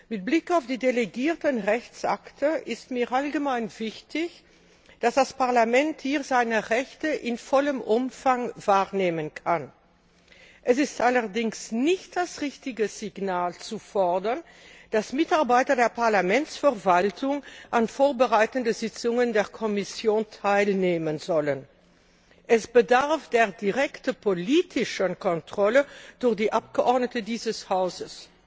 Mit Blick auf die delegierten Rechtsakte ist mir allgemein wichtig, dass das Parlament hier seine Rechte in vollem Umfang wahrnehmen kann. Es ist allerdings nicht das richtige Signal, zu fordern, dass Mitarbeiter der Parlamentsverwaltung an vorbereitenden Sitzungen der Kommission teilnehmen sollen. Es bedarf der direkten politischen Kontrolle durch die Abgeordneten dieses Hauses.